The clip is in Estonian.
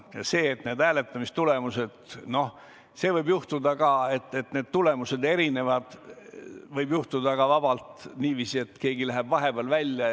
Ja see, et hääletamistulemused on erinevad, võib juhtuda vabalt ka sel juhul, kui keegi läheb vahepeal välja.